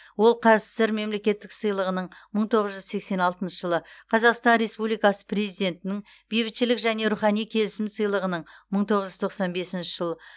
ол қазсср мемлекеттік сыйлығының мың тоғыз жүз сексен алтыншы жылы қазақстан республикасы президентінің бейбітшілік және рухани келісім сыйлығының мың тоғыз жүз тоқсан бесінші жылы